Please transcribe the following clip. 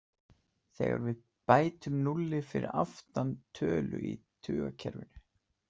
Þegar við bætum núlli fyrir aftan tölu í tugakerfinu.